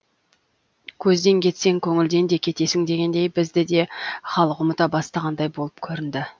көзден кетсең көңілден де кетесің дегендей бізді де халық ұмыта бастағандай болып көрінді